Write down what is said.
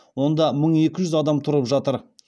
онда мың екі жүз адам тұрып жатыр